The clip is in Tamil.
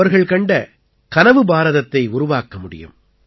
அவர்கள் கண்ட கனவு பாரதத்தை உருவாக்க முடியும்